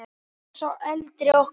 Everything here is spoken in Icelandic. Hann er sá eldri okkar.